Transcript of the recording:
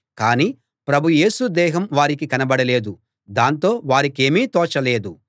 కానీ ప్రభు యేసు దేహం వారికి కనబడలేదు దాంతో వారికేమీ తోచలేదు